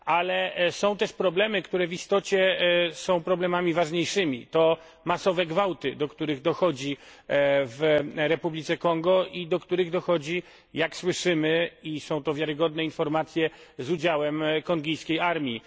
Ale są też problemy, które w istocie są problemami ważniejszymi. To masowe gwałty, do których dochodzi w Republice Konga i do których dochodzi, jak słyszymy i są to wiarygodne informacje z udziałem kongijskiej armii.